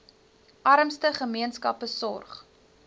armste gemeenskappe sorg